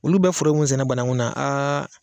Olu bɛ foro min sɛnɛ bananku na a